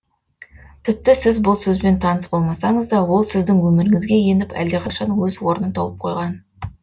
тіпті сіз бұл сөзбен таныс болмасаңыз да ол сіздің өміріңізге еніп әлдеқашан оз орнын тауып қойған